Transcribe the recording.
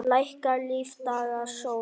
Lækkar lífdaga sól.